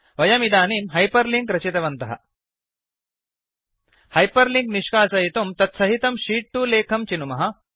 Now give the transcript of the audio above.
वयमिदानीं hyper link रचितवन्तः hyper link निष्कासयितुं तत्सहितं शीत् 2 लेखं चिनुमः